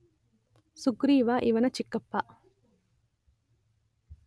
ಸುಗ್ರೀವ ಇವನ ಚಿಕ್ಕಪ್ಪ.